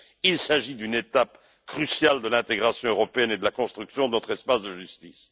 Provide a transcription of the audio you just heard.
Il s'agit d'une étape cruciale de l'intégration européenne et de la construction de notre espace de justice.